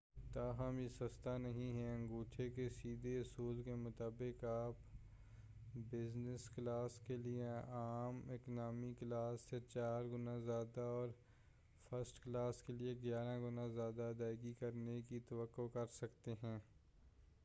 تاہم یہ سستا نہیں ہے انگوٹھے کے سیدھے اصول کے مطابق آپ بزنس کلاس کے لیے عام اکانومی کلاس سے چار گنا زیادہ اور فرسٹ کلاس کے لئے گیارہ گنا زیادہ ادائیگی کرنے کی توقع کرسکتے ہیں